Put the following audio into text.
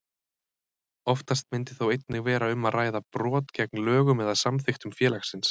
Oftast myndi þó einnig vera um að ræða brot gegn lögum eða samþykktum félagsins.